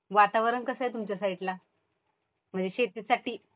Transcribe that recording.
वातावरण कसं आहे तुमच्या साईडला? म्हणजे शेतीसाठी